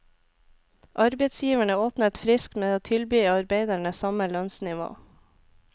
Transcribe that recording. Arbeidsgiverne åpnet friskt med å tilby arbeiderne samme lønnsnivå.